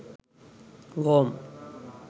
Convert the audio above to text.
worm